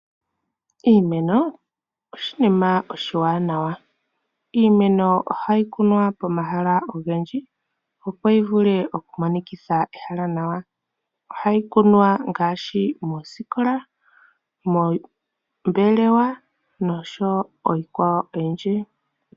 Iimeno oshinima oshi wanawa. Iimeno oha yi kunwa pomahala ogendji opo yivule oku monikitha ehala nawa. Oha yi kunwa ngaashi moosikola, moombelewa oshowo iikwawo oyindji.